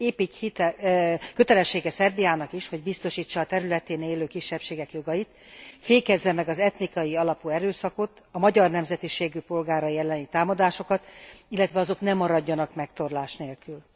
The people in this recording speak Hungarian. Épp így kötelessége Szerbiának is, hogy biztosítsa a területén élő kisebbségek jogait, fékezze meg az etnikai alapú erőszakot, a magyar nemzetiségű polgárai elleni támadásokat, illetve azok ne maradjanak megtorlás nélkül.